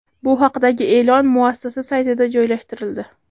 Bu haqdagi e’lon muassasa saytida joylashtirildi .